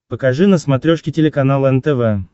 покажи на смотрешке телеканал нтв